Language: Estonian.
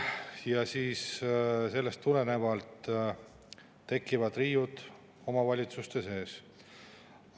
sellest tulenevalt tekivad riiud omavalitsuste sees.